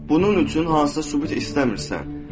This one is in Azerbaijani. Bunun üçün hansısa sübut istəmirsən.